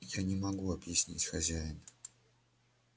я не могу объяснить хозяин